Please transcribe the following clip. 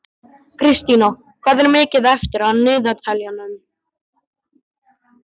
Kristína, hvað er mikið eftir af niðurteljaranum?